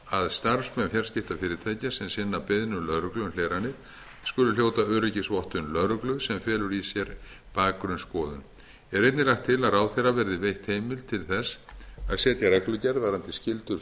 að starfsmenn fjarskiptafyrirtækja sem sinna beiðnum lögreglu um hleranir skuli hljóta öryggisvottun lögreglu sem felur í sér bakgrunnsskoðun er einnig lagt til að ráðherra verði veitt heimild til þess að setja reglugerð varðandi skyldur